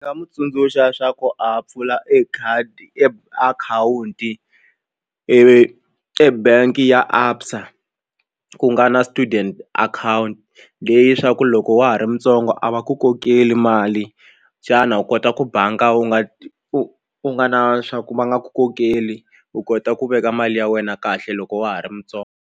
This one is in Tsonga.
Nga n'wi tsundzuxa swa ku a pfula e khadi e akhawunti ivi ebank ya ABSA ku nga na student account leyi swa ku loko wa ha ri mutsongo a va ku kokeli mali xana u kota ku banga u nga u nga na swa ku va nga ku kokeli u kota ku veka mali ya wena kahle loko wa ha ri mutsongo.